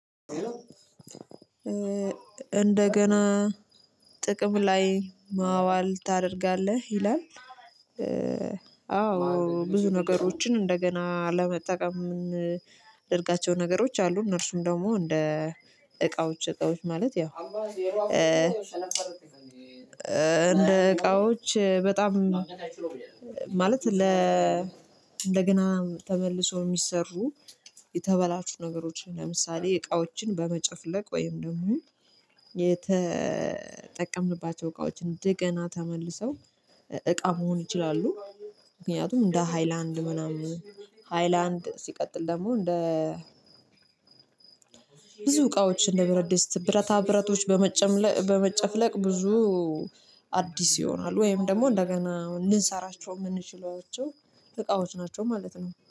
እንደገና ጥቅም ላይ ማዋል ታደርጋለህ ይላል አዎ ብዙ ነገሮችን እንደገና ለመጠቀም ደርጋቸው ነገሮች አሉ እነርሱም ደግሞ እንደ እቃዎች እቃዎች ማለት ያው እንደ እቃዎች በጣም ማለት ለ እንደገና ተመልሶ የሚሰሩ የተበላሹ ነገሮች ለምሳሌ እቃዎችን በመጨፍለቅ ወይም ደግሞ የተጠቀምንባቸው እቃዎችን እንደገና ተመልሰው እቃ መሆን ይችላሉ። ምክንያቱም እንደ ሃይላንድ ምናምን ሃይላንድ ሲቀጥል ደግሞ እንደ ብዙ እቃዎች እንደ ብረድስት ብረታ ብረቶች በመጨፍለቅ ብዙ አዲስ ይሆናል ወይም ደግሞ እንደገና ልንሰራቸው የምንችለዋቸው እቃዎች ናቸው ማለት ነው።